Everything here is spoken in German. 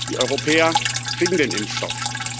Die Europäer kriegen den Impfstoff.